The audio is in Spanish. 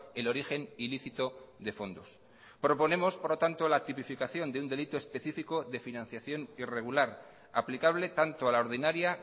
el origen ilícito de fondos proponemos por lo tanto la tipificación de un delito específico de financiación irregular aplicable tanto a la ordinaria